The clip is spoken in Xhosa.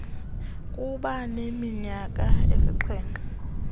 kuba neminyaka esixhenxe